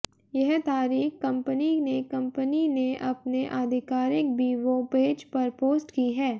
यह तारीख कंपनी ने कंपनी ने अपने आधिकारिक वीबो पेज पर पोस्ट की है